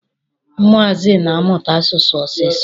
Ụmụazị na-amụta asụsụ ọsịsọ.